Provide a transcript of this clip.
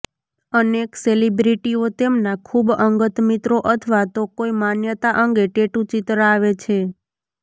અનેક સેલિબ્રિટીઓ તેમના ખૂબ અંગત મિત્રો અથવા તો કોઇ માન્યતા અંગે ટેટૂ ચિતરાવે છે